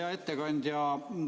Hea ettekandja!